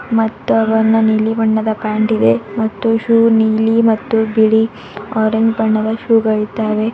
ಮತ್ತು ಅವನ ನೀಲಿ ಬಣ್ಣದ ಪ್ಯಾಂಟ್ ಇದೆ ಮತ್ತು ಶೂ ನೀಲಿ ಮತ್ತು ಬಿಳಿ ಆರೆಂಜ್ ಬಣ್ಣದ ಶೂ ಗಳಿದ್ದಾವೆ.